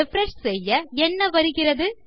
refresh செய்ய என்ன வருகிறது